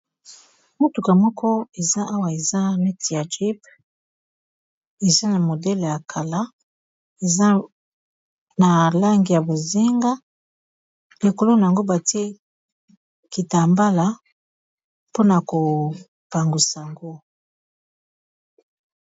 Motuka moko eza awa eza neti ya jeep eza na modele ya kala eza na langi ya bozenga likolo na yango batie kitambala mpona kopangwisa ango.